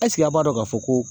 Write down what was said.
Ɛsiki a b'a dɔn k'a fɔ ko